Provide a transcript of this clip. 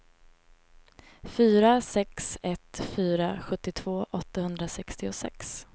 fyra sex ett fyra sjuttiotvå åttahundrasextiosex